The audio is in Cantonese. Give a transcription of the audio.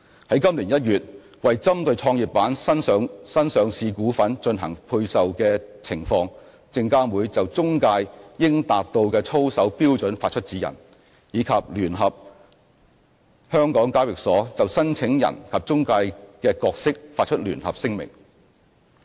在今年1月，為針對創業板新上市股份進行配售的情況，證監會就中介應達到的操守標準發出指引，以及聯同香港交易所就申請人及中介的角色發出聯合聲明。